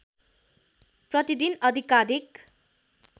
प्रतिदिन अधिकाधिक